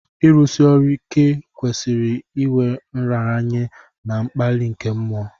Ịrụsi ọrụ ike kwesiri iwé nraranye na mkpali nke mmụọ